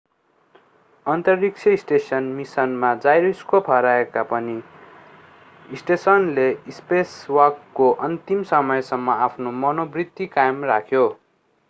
अन्तरिक्ष स्टेसन मिसनमा जाइरोस्कोप हराएका भए पनि स्टेसनले स्पेसवाकको अन्तिम समयसम्म आफ्नो मनोवृत्ति कायम राख्यो